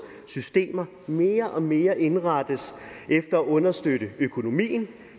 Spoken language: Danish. systemer mere og mere indrettes efter at understøtte økonomien